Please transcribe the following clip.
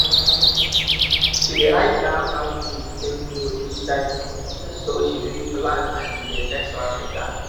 she dey write down how things take grow each time so she fit plan the next round better